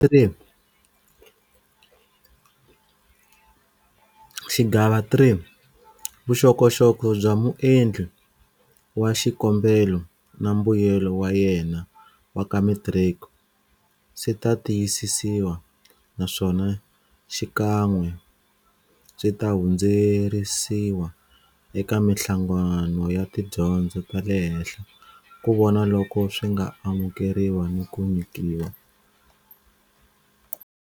Xigava 3- Vuxokoxoko bya muendli wa xikombelo na mbuyelo wa yena wa ka metiriki swi ta tiyisisiwa naswona xikan'we swi ta hundzuseriwa eka mihlangano ya tidyondzo ta le henhla ku vona loko swi nga amukeriwa ni ku nyikiwa